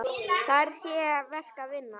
Þar sé verk að vinna.